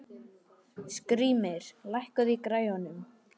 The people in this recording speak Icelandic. Skrýmir, lækkaðu í græjunum.